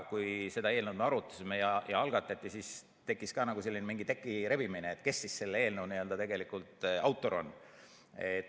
Kui me seda eelnõu arutasime ja see algatati, siis tekkis ka mingi selline teki rebimine, et kes siis selle eelnõu tegelik autor on.